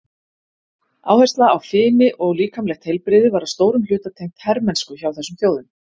Áhersla á fimi og líkamlegt heilbrigði var að stórum hluta tengt hermennsku hjá þessum þjóðum.